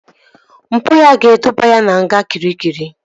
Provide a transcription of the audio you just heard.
Mpụ ya ga-eduba ya na nga Kịrikịri